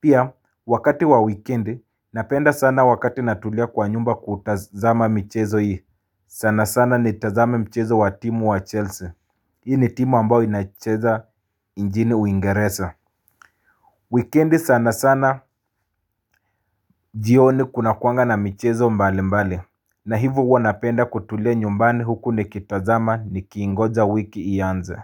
Pia wakati wa weekendi napenda sana wakati natulia kwa nyumba kutazama michezo hii sana sana ni tazame michezo wa timu wa Chelsea Hii ni timu ambao inacheza injini uingereza Weekendi sana sana jioni kuna kuwanga na michezo mbali mbali na hivo huwa napenda kutulia nyumbani huku ni kitazama ni kiingoja wiki ianze.